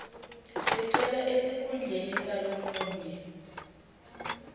sicelo esikhundleni salomunye